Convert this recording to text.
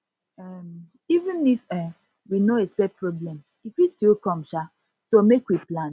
um even if um we no expect problem e fit still come um so make we plan